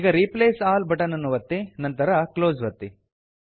ಈಗ replace all button ಅನ್ನು ಒತ್ತಿ ನಂತರ ಕ್ಲೋಸ್ ಒತ್ತಿ